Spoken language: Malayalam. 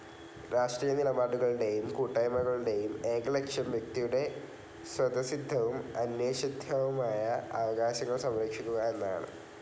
രാഷ്ട്രീയനിലപാടുകളുടേയും കൂട്ടായ്മകളുടേയും ഏക ലക്ഷ്യം വ്യക്തിയുടെ സ്വതസ്സിദ്ധവും അനിഷേധ്യവുമായ അവകാശങ്ങൾ സംരക്ഷിക്കുക എന്നതാണ്.